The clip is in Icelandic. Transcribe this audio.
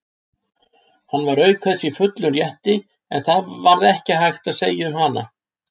Hann var auk þess í fullum rétti, en það varð ekki sagt um hana.